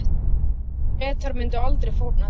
Bretar myndu aldrei fórna því.